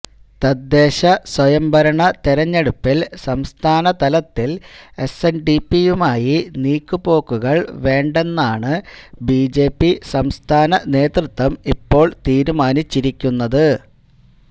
തദ്ദേശ സ്വയംഭരണ തിരഞ്ഞെടുപ്പിൽ സംസ്ഥാന തലത്തിൽ എസ്എൻഡിപിയുമായി നീക്കുപോക്കുകൾ വേണ്ടേന്നാണ് ബിജെപി സംസ്ഥാന നേതൃത്വം ഇപ്പോൾ തീരുമാനിച്ചിരിക്കുന്നത്